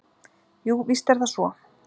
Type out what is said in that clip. Jú, víst er það svo.